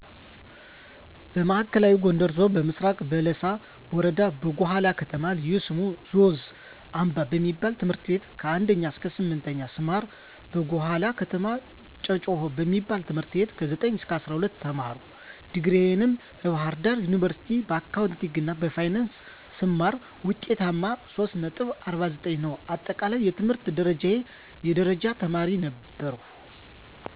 በማዕከላዊ ጎንደር ዞን በምስራቅ በለሳ ወረዳ በጉሃላ ከተማ ልዩ ስሙ ዞዝ አምባ በሚበል ት/ቤት ከ1ከ_8ኛ ስማር በጉሃላ ከተማ ጨጭሆ በሚበል ት/ቤት ከ9ከ_12ኛ ተማርሁ ዲግሪየን በባህርዳር ዩኒበርስቲ በአካውንቲንግ እና ፋይናንስ ስማር ውጤቴም 3.49 ነው አጠቃለይ የትምህርት ደረጃየ የደረጃ ተማሪ ነበርሁ።